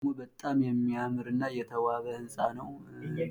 ይህ ደግሞ በጣም የሚያምር እና የተዋበ ሕንፃ ነዉ።